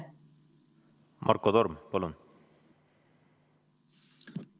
Marko Torm, palun!